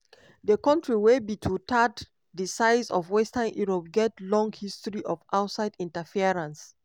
di kontri wey be two-thirds di size of western europe get long history of outside interference.